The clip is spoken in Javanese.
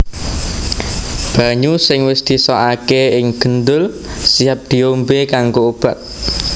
Banyu sing wis disokaké ing gendul siap diombé kanggo obat